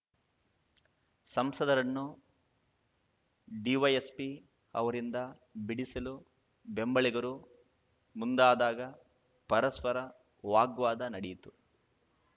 ಸಂಸದರನ್ನು ಡಿವೈಎಸ್ಪಿ ಅವರಿಂದ ಬಿಡಿಸಲು ಬೆಂಬಲಿಗರು ಮುಂದಾದಾಗ ಪರಸ್ಪರ ವಾಗ್ವಾದ ನಡೆಯಿತು